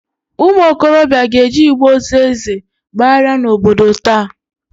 Ụmụokorobịa ga-eji igbe ozu Eze agbagharị n'obodo taa.